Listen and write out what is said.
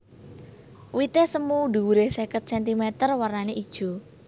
Wité semu dhuwuré seket centimeter warnané ijo